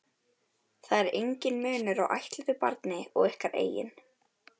Það er enginn munur á ættleiddu barni og ykkar eigin.